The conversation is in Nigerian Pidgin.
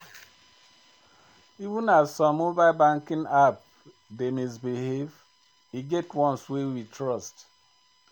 Even as some moble banking app dey misbehave, e get ones wey we trust.